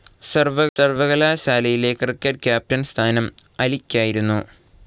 സർവകലാശാലയിലെ cricket captain സ്ഥാനം അലിക്കായിരുന്നു.